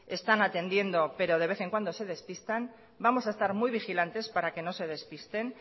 están atendiendo pero de vez en cuando se despistan vamos a estar muy vigilantes para que no se despisten